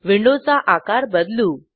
विंडोचा आकार बदलू